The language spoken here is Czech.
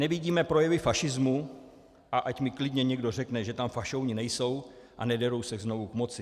Nevidíme projevy fašismu, a ať mi klidně někdo řekne, že tam fašouni nejsou a nederou se znovu k moci.